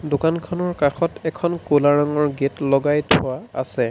দোকানখনৰ কাষত এখন ক'লা ৰঙৰ গেট লগাই থোৱা আছে।